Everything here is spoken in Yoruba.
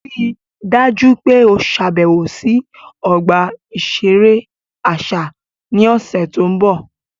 Rii daju pe o ṣabẹwo si ọgba iṣere aṣa ni ọsẹ to nbọ!